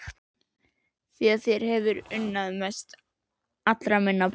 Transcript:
Því þér hef ég unnað mest allra minna barna.